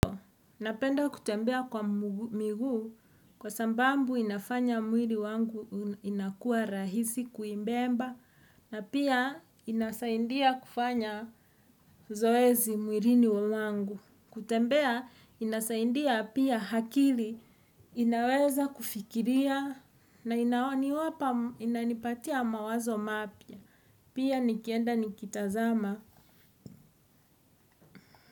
Napenda kutembea kwa miguu kwa sababu inafanya mwili wangu inakua rahisi kuibeba na pia inasaidia kufanya zoezi mwilini mwangu. Kutembea inasaidia pia akili inaweza kufikiria na inaoniwapa inanipatia mawazo mapya. Pia nikienda nikitazama.